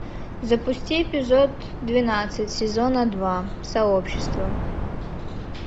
запусти эпизод двенадцать сезона два сообщество